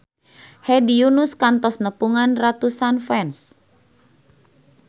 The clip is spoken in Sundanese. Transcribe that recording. Hedi Yunus kantos nepungan ratusan fans